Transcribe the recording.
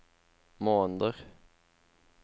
måneder